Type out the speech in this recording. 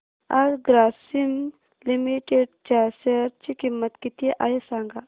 आज ग्रासीम लिमिटेड च्या शेअर ची किंमत किती आहे सांगा